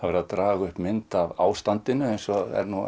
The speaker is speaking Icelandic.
verið að draga upp mynd af ástandinu eins og